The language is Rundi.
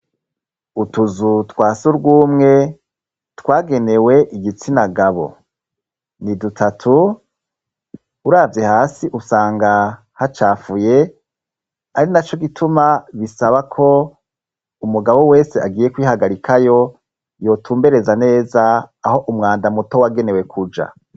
Utuzu twa sugumwe twagenewe igitsinagabo. Ni dutatu, uravye hasi usanga hacafuye, ari naco gituma bisaba ko umugabo wese agiye kwihagarikayo yotumbereza neza aho umwanda muto wagenewe kuja.